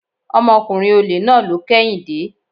Ọmọkùnrin ọ̀lẹ náà ló kẹ́yìn dé.